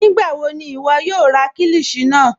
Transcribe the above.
Nígbàwọ̀ ni iwọ̀ yóò rà kílíshì náà?